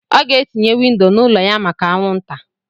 Ọ ga-etinye windo n'ụlọ ya maka anwụnta.